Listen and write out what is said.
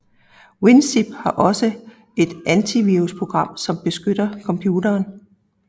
WinZip har også et antivirusprogram som beskytter computeren